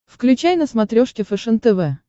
включай на смотрешке фэшен тв